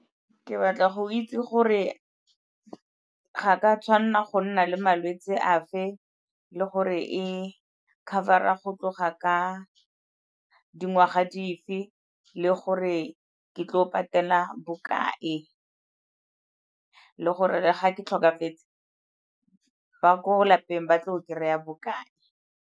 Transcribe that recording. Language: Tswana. Ke batla go itse gore ga ke a tshwanela go nna le malwetsi a fe, le gore e cover-ra go tloga ka dingwaga dife, le gore ke tlile go patela bokae, le gore ga ke tlhokafetse ba ko lapeng ba tlo go kry-a bokae.